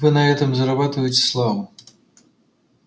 вы на этом заработаете славу